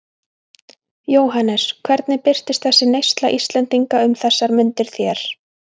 Jóhannes: Hvernig birtist þessi neysla Íslendinga um þessar mundir þér?